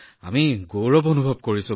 আমি গৌৰৱ অনুভৱ কৰিছো